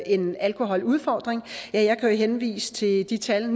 en alkoholudfordring jeg kan jo henvise til det tal